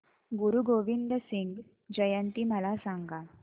गुरु गोविंद सिंग जयंती मला सांगा